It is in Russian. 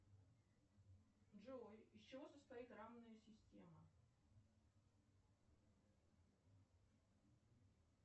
джой из чего состоит равная система